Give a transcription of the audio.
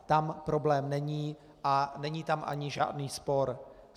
Tam problém není a není tam ani žádný spor.